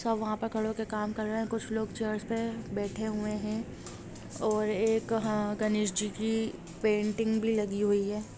वहां पर खड़े होकर काम कर रहे हैंकुछ लोग चेयर पे बैठे हुए हैं और यह हां गणेश जी की पेंटिंग भी लगी हुई है।